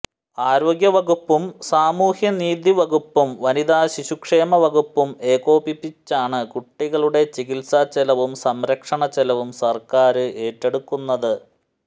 ആരോഗ്യ വകുപ്പും സാമൂഹ്യനീതി വകുപ്പും വനിതാ ശിശുക്ഷേമ വകുപ്പും ഏകോപിപ്പിച്ചാണ് കുട്ടികളുടെ ചികിത്സാ ചെലവും സംരക്ഷണ ചെലവും സര്ക്കാര് ഏറ്റെടുക്കുന്നത്